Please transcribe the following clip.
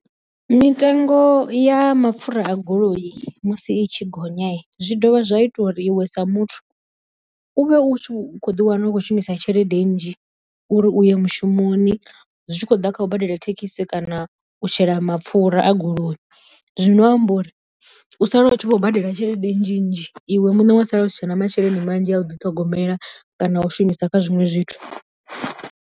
Mitengo ya mapfura a goloi musi i tshi gonya zwi dovha zwa ita uri iwe sa muthu u vhe u khou ḓi wana u khou shumisa tshelede nnzhi uri u ye mushumoni zwi tshi khou ḓa u badela thekhisi kana u shela mapfura a goloi. Zwino amba uri u sala u tshi khou badela tshelede nnzhi nnzhi iwe muṋe wa sala u si tshena masheleni manzhi a u ḓiṱhogomela kana a u shumisa kha zwiṅwe zwithu.